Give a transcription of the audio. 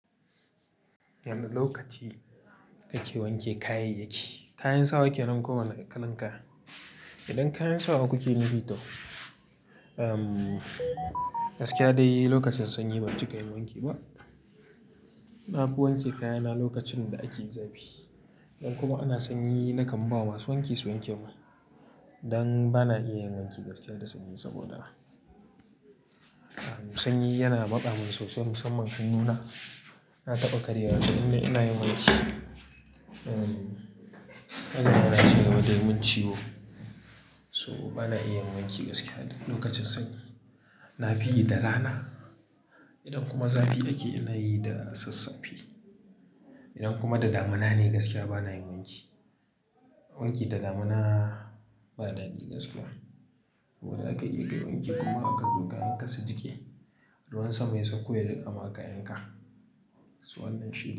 Yanda lokaci ake wanke kayayyaki, kayan sawa ake nan kowane kalan kaya. Idan kayan sawa kuke nufi toh, gaskiya dai lokacin sanyi ban cika yin wanki ba. Na fi wanke kayana lokacin da ake zafi. Idan kuma ana sanyi nakan bawa masu wanki su wanke mun dan bana iya yin wanki gaskiya da sanyi saboda sanyi yana masta min sosai musamman hannuna. Na taɓa kariyewa to inda ina yin wanki, hannuna yana cire da yim mun ciwo. So bana iya yin wanki gaskiya lokacin sanyi. Na fi yi da rana. Idan kuma zafi ake, ina yi da sassafi. Idan kuma da damuna ne gaskiya bana yin wanki. Wanki da damuna ba dadi gaskiya. Zaka iya kayi wanki kuma aka zo kayan ka su jiki, ruwan sama ya sauko ya rika ma kayan ka. So wannan shi ne.